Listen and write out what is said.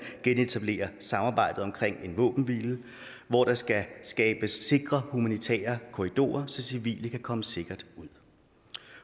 genetablerer samarbejdet om en våbenhvile hvor der skal skabes sikre humanitære korridorer så civile kan komme sikkert ud